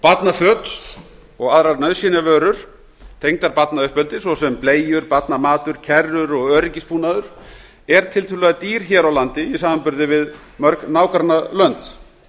barnaföt og aðrar nauðsynjavörur tengdar barnauppeldi svo sem bleiur barnamatur kerrur og öryggisbúnaður er tiltölulega dýr hér á landi í samanburði við mörg nágrannalönd